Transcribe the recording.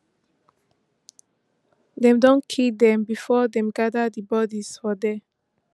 dem don kill dem bifor dem gada di bodies for there